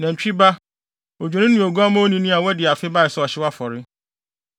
nantwi ba, odwennini ne oguamma onini a wadi afe bae sɛ ɔhyew afɔre;